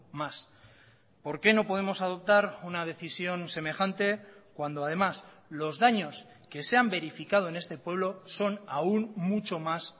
más por qué no podemos adoptar una decisión semejante cuando además los daños que se han verificado en este pueblo son aún mucho mas